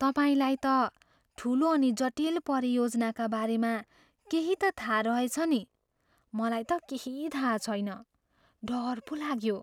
तपाईँलाई त ठुलो अनि जटिल परियोजनाका बारेमा केही त थाहा रहेछ नि। मलाई त केही थाहा छैन। डर पो लाग्यो।